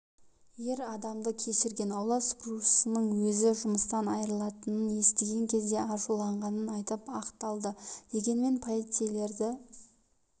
ер адамды кешірген аула сыпырушының өзі жұмыстан айырылатынын естіген кезде ашыуланғанын айтып ақталды дегенмен полицейлерді